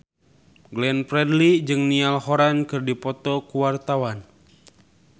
Glenn Fredly jeung Niall Horran keur dipoto ku wartawan